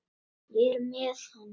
Ég er með hann.